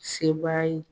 Sebaaya ye